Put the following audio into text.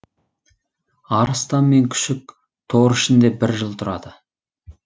арыстан мен күшік тор ішінде бір жыл тұрады